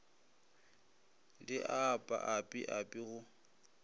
di apa api api go